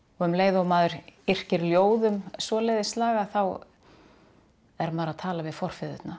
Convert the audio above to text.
og um leið og maður yrkir ljóð um svoleiðis lagað þá er maður að tala við